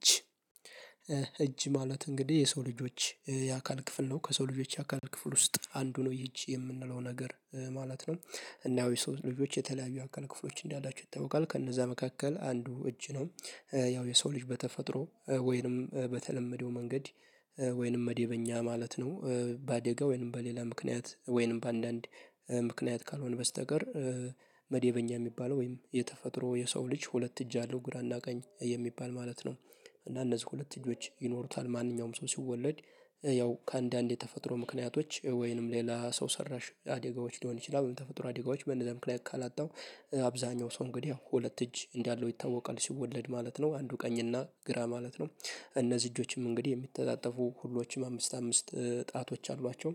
እጅ እጅ ማለት እንግዲህ የሰው ልጆች የአካል ክፍል ነው ከሰው ልጆች የአካል ክፍል ውስጥ አንዱ ነው እጅ የምንለው ነገር ማለት ነው እና ያው የሰው ልጆች የተለያዩ አካል ክፍሎች እንዳላችሁ ይታወቃል ከነዛ መካከል አንዱ እጅ ነው ያው የሰው ልጅ በተፈጥሮ ወይንም በተለመደው መንገድ ወይንም መደበኛ ማለት ነው በአደጋ ወይንም በሌላ ምክንያት ወይንም በአንዳንድ ምክንያት ካልሆነ በስተቀር መደበኛ የሚባለው ወይም የተፈጥሮ የሰው ልጅ ሁለት እጅ አለው ግራና ቀኝ የሚባል ማለት ነው እና እነዚህ ሁለት እጆች ይኖሩታል ማንኛውም ሰው ሲወለድ ያው ከአንዳንድ የተፈጥሮ ምክንያቶች ወይንም ሌላ ሰው ሰራሽ አደጋዎች ሊሆን ይችላል በተፈጥሮ አደጋዎች በነዛ ምክንያት ካላጣው ያው አብዛኛው ሰው እንግዲህ ሁለት እጅ እንዳለው ይታወቃል ሲወለድ ማለት ነው አንዱ ቀኝ እና ግራ ማለት ነው እነዚህ እጆችም እንግዲህ የሚተጣጠፉ ሁሎችም አምስት አምስት ጣቶች አሏቸው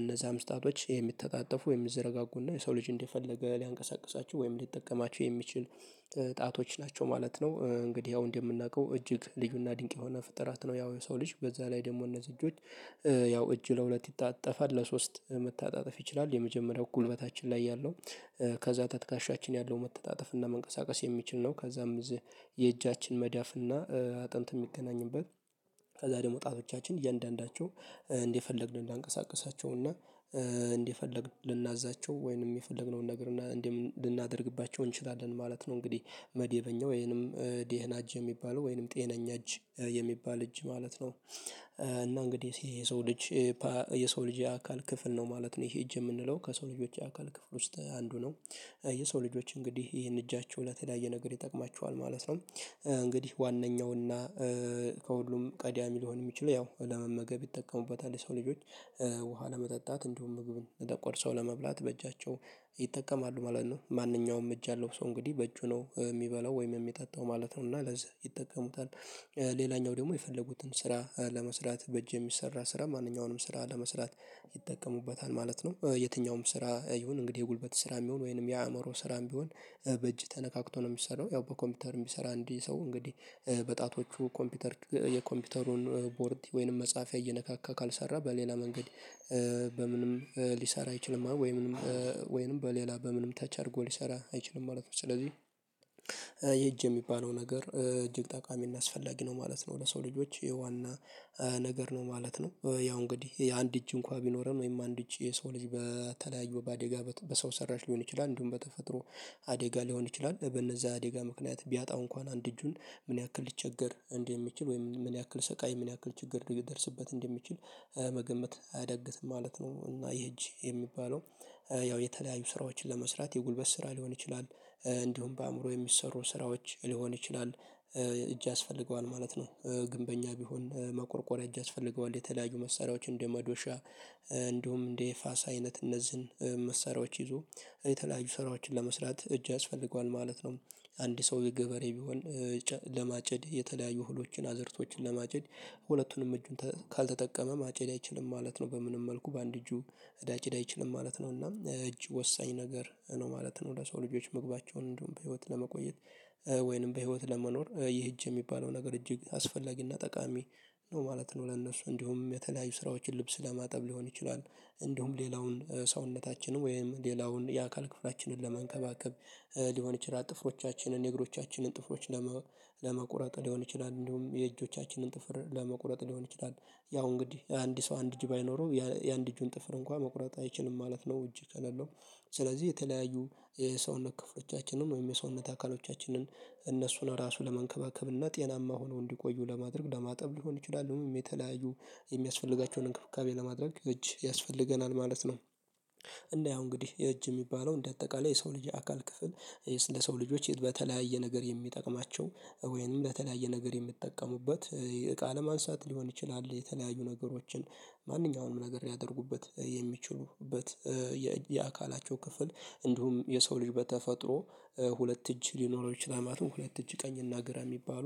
እነዛም ጣቶች የሚተጣጠፉ ወይም የሚዘረጋጉና የሰው ልጅ እንደፈለገ ሊያንቀሳቅሳችው ወይም ሊጠቀማቸው የሚችል ጣቶች ናቸው ማለት ነው እንግዲህ ያው እንደምናውቀው እጅግ ልዩና ድንቅ የሆነ ፍጥረት ነው ያው የሰው ልጅ በዛ ላይ ደግሞ እነዚህ እጆች ያው እጅ ለሁለት ይታጣፋል ለሶስት መተጣጠፍ ይችላል የመጀመሪያው ጉልበታችን ላይ ያለው ከዛ ከትካሻችን ያለው መተጣጠፍ እና መንቀሳቀስ የሚችል ነው ከዛም የእጃችን መዳፍ እና አጥንት የሚገናኝበት ከዛ ደግሞ ጣቶቻችን እያንዳንዳቸው እንደፈለግን እንድናቀሳቀሳቸው እና እንደፈለግን ልናዛቸው ወይንም የፈለግነውን ነገር እና እንዴም ልናደርግባቸው እንችላለን ማለት ነው እንግዲህ መዴበኛው ወይንም ደህና እጅ የሚባለው ወይንም ጤነኛ እጅ የሚባል እጅ ማለት ነው እና እንግዲህ ይሄ የሰው ልጅ ባ እጅ የሰው ልጅ የአካል ክፍል ነው ማለት ነው ይሄ እጅ የምንለው ከሰው ልጆች የአካል ክፍል ውስጥ አንዱ ነው የሰው ልጆች እንግዲህ ይሄን እጃቸው ለተለያየ ነገር ይጠቅማቸዋል ማለት ነው እንግዲህ ዋነኛውና ከሁሉም ቀዳሚ ሊሆን የሚችለው ያው ለመመገብ ይጠቀሙበታል የሰው ልጆች ውሃ ለመጠጣት እንዲሁም ምግቡን ተቆርሰው ለመብላት በእጃቸው ይጠቀማሉ ማለት ነው ማንኛውም እጅ ያለው ሰው እንግዲህ በእጁ ነው የሚበላው ወይም የሚጠጣው ማለት ነው እና ለዚህ ይጠቀሙታል ሌላኛው ደግሞ የፈለጉትን ስራ ለመስራት በእጅ የሚሰራ ስራ ማንኛውንም ስራ ለመስራት ይጠቀሙበታል ማለት ነው የትኛውም ስራ ይሁን እንግዲህ የጉልበት ስራም ይሁን ወይንም የአእምሮ ስራም ቢሆን በእጅ ተነካክቶ ነው የሚሰራው ያው በኮምፒውተር የሚሰራ አንድ ሰው እንግዲህ በጣቶቹ ኮምፒውተር የኮምፒውተሩን ቦርድ ወይንም መፃፍያ እየነካካ ካልሰራ በሌላ መንገድ በምንም ሊሰራ አይችልም ወይንም ወይንም በሌላ በምንም ተች አድርጎ ሊሰራ አይችልም ማለት ነው ስለዚህ ይሄ እጅ የሚባለው ነገር እጅግ ጠቃሚና አስፈላጊ ነው ማለት ነው ለሰው ልጆች የዋና ነገር ነው ማለት ነው ያው እንግዲህ የአንድ እጅ እንኳን ቢኖረን ወይም አንድ እጅ የሰው ልጅ በተለያዩ በአደጋ በሰው ሰራሽ ሊሆን ይችላል እንዲሁም በተፈጥሮ አደጋ ሊሆን ይችላል በእነዛ አደጋ ምክንያት ቢያጣው እንኳን አንድ እጁን ምን ያክል ሊቸገር እንደሚችል ወይም ምን ያክል ስቃይ ምን ያክል ችግር ሊደርስበት እንደሚችል መገመት አያዳግትም ማለት ነው እና ይሄ እጅ የሚባለው ያው የተለያዩ ስራዎችን ለመስራት የጉልበት ስራ ሊሆን ይችላል እንደውም በአእምሮ የሚሰሩ ስራዎች ሊሆን ይችላል እጅ ያስፈልገዋል ማለት ነው ግንበኛ ቢሆን መቆርቆሪያ እጅ ያስፈልገዋል የተለያዩ መሳሪያዎችን እንደ መዶሻ እንዲሁም እንደ ፋስ አይነት እነዚህን መሳሪያዎች ይዞ የተለያዩ ሰራዊቶችን ለመስራት እጅ ያስፈልገዋል ማለት ነው አንድ ሰው የገበሬ ቢሆን ለማጨድ የተለያዩ እህሎችን አዘርቶችን ለማጨድ ሁለቱንም እጁን ካልተጠቀመ ማጨድ አይችልም ማለት ነው በምንም መልኩ በአንድ እጁ ሊያጭድ አይችልም ማለት ነው እና እጅ ወሳኝ ነገር ነው ማለት ነው ለሰው ልጆች መግባቸውን እንዲሁም በህይወት ለመቆየት ወይንም በህይወት ለመኖር ይህ እጅ የሚባለው ነገር እጅግ አስፈላጊና ጠቃሚ ነው ማለት ነው ለእነሱ እንዲሁም የተለያዩ ስራዎችን ልብስ ለማጠብ ሊሆን ይችላል እንዲሁም ሌላውን ሰውነታችንን ወይም ሌላውን የአካል ክፍላችንን ለማንከባከብ ሊሆን ይችላል ጥፍሮቻችንን የእግሮቻችንን ጥፍሮች ለመ ለመቁረጥ ሊሆን ይችላል እንዲሁም የእጆቻችንን ጥፍር ለመቁረጥ ሊሆን ይችላል ያው እንግዲህ አንድ ሰው አንድ እጅ ባይኖረው የአንድ እጁን ጥፍር እንኳን መቁረጥ አይችልም ማለት ነው እጅ ከሌለው ስለዚህ የተለያዩ የሰውነት ክፍሎቻችንን ወይም የሰውነት አካሎቻችንን እነሱን ራሱን ለመንከባከብ እና ጤናማ ሆነው እንዲቆዩ ለማድረግ ለማጠብ ሊሆን ይችላል የተለያዩ የሚያስፈልጋቸውን እንክብካቤ ለማድረግ እጅ ያስፈልገናል ማለት ነው። እና ያው እንግዲህ እጅ የሚባለው እንደ አጠቃላይ የሰው ልጅ የአካል ክፍል ለሰው ልጆች በተለያየ ነገር የሚጠቅማቸው ወይንም በተለያየ ነገር የሚጠቀሙበት እቃ ለማንሳት ሊሆን ይችላል የተለያዩ ነገሮችን ማንኛውንም ነገር ሊያደርጉበት የሚችሉበት የአካላቸው ክፍል እንዲሁም የሰው ልጅ በተፈጥሮ ሁለት እጅ ሊኖረው ይችላል ማለት ነው ሁለት እጅ ቀኝ እና ግራ የሚባሉ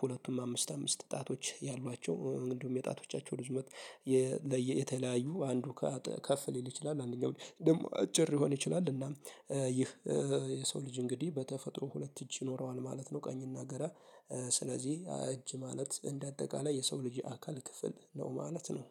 ሁለቱም አምስት አምስት ጣቶች ያሏቸው እንዲሁም የጣቶቻቸው ርዝመት የ ለየ የተለያዩ አንዱ ከፍ ሊል ይችላል አንደኛው ደግሞ አጭር ሊሆን ይችላል እና ይህ የሰው ልጅ እንግዲህ በተፈጥሮ ሁለት እጅ ይኖረዋል ማለት ነው ቀኝና ግራ እጅ ማለት እንደ አጠቃላይ የሰው ልጅ የአካል ክፍል ነው ማለት ነው